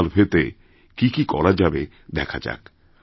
এই সার্ভেতে কি কি করা যাবে দেখা যাক